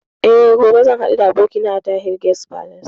Eh, gobe zan haɗu da abokina a Tahir Guest Palace